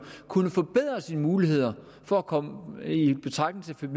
kunne forbedre sine muligheder for at komme i betragtning